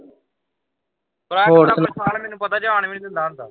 ਵਿਸ਼ਾਲ ਮੈਨੂੰ ਪਤਾ ਜਾਣ ਹੀ ਨਹੀਂ ਦਿੰਦਾ ਹੁੰਦਾ